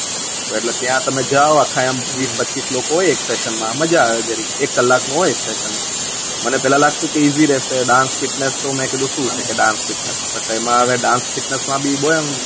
એટલે ત્યાં તમે જાઉં આખા બીસ પચ્ચીસ લોકો હોય એક સેસન માં મજા આવે જરીક એક કલાક નો હોય એક સેસન મને પેહલા લાગતું હતું કે ઇઝી રેહશે ડાન્સ ફિટનેસ મેં કીધું શું છે કે ડાન્સ ફિટનેસ બત એમાં આવે ડાન્સ ફિટનેસ માં ભી